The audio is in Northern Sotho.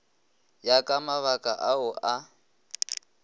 ya ka mabaka ao a